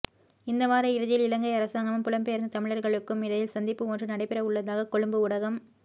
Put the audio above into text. இந்த வார இறுதியில் இலங்கை அரசாங்கமும் புலம்பெயர்ந்த தமிழர்களுக்கும் இடையில் சந்திப்பு ஒன்று நடைபெறவுள்ளதாக கொழும்பு ஊடகம்